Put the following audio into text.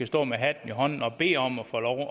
stå med hatten i hånden og bede om at få lov